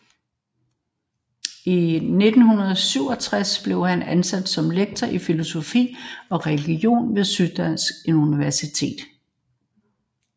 I 1967 blev han ansat som som lektor i filosofi og religion ved Syddansk Universitet